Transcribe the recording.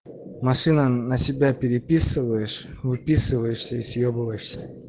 машина на себя переписываешь выписываешься и съебываешься